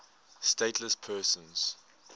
stateless persons